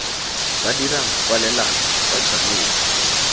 ba dirang kwalelano ba tshwanetse